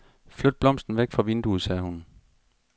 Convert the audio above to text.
Flyt blomsten væk fra vinduet, sagde hun.